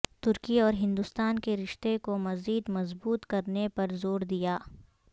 ترکی اور ہندوستان کے رشتے کو مزید مظبوط کرنے پر زور دیا